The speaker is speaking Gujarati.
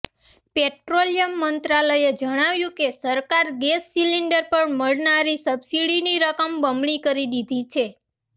પેટ્રોલિયમ મંત્રાલયે જણાવ્યું કે સરકારે ગેસ સિલિન્ડર પર મળનારી સબસિડીની રકમ બમણી કરી દીધી છે